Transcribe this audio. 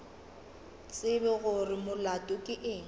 tsebe gore molato ke eng